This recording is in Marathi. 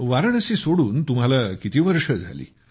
वाराणसी सोडून तुम्हाला किती वर्ष झाली